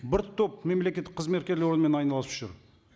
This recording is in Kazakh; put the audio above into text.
бір топ мемлекеттік қызметкерлер онымен айналысып жүр